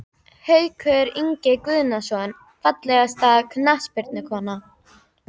Haukur Ingi Guðnason Fallegasta knattspyrnukonan?